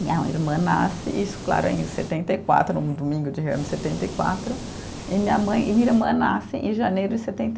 minha irmã nasce, isso claro, em setenta e quatro, num domingo de ramos em setenta e quatro, e minha mãe, e minha irmã nasce em janeiro de setenta e